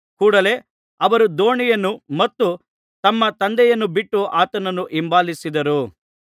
ಕೂಡಲೆ ಅವರು ದೋಣಿಯನ್ನು ಮತ್ತು ತಮ್ಮ ತಂದೆಯನ್ನು ಬಿಟ್ಟು ಆತನನ್ನು ಹಿಂಬಾಲಿಸಿದರು